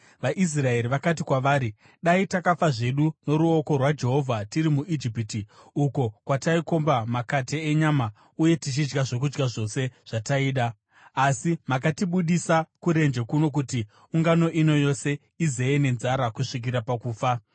VaIsraeri vakati kwavari, “Dai takafa zvedu noruoko rwaJehovha tiri muIjipiti! Uko kwataikomba makate enyama uye tichidya zvokudya zvose zvataida, asi makatibudisa kurenje kuno kuti ungano ino yose iziye nenzara kusvikira pakufa.”